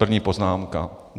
První poznámka.